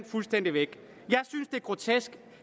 fuldstændig væk jeg synes det er grotesk